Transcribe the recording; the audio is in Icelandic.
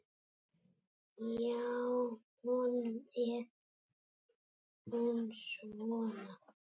Hjá honum er hún svona